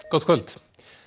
gott kvöld